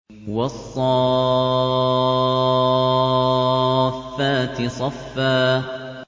وَالصَّافَّاتِ صَفًّا